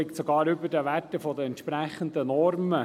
Er liegt sogar über den Werten der entsprechenden Normen.